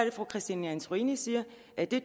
at fru christine antorini siger at det